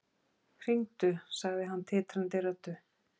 Hringdu, sagði hann titrandi röddu.